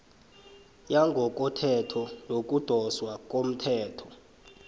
yangokothetho yokudoswa komthelo